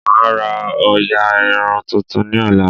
Mà á ra òòyà irun tuntun ní ọ̀la